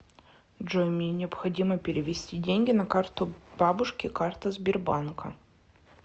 джой мне необходимо перевести деньги на карту бабушки карта сбербанка